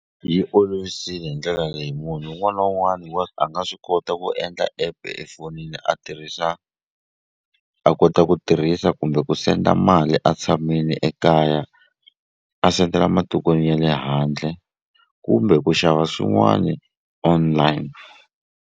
Yi olovisile hi ndlela leyi munhu wun'wana wun'wani wa a nga swi kota ku endla app efonini a tirhisa a kota ku tirhisa kumbe ku senda mali a tshamini ekaya a sendela matikweni ya le handle kumbe ku xava swin'wani online.